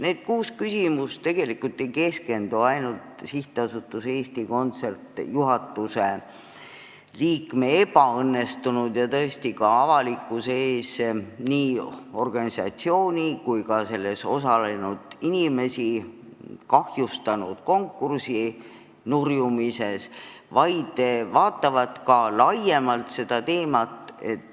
Need kuus küsimust tegelikult ei keskendu ainult SA Eesti Kontsert juhatuse liikme ebaõnnestunud ja ka avalikkuse ees nii organisatsiooni kui ka inimeste mainet kahjustanud konkursi nurjumisele, vaid vaatavad seda teemat laiemalt.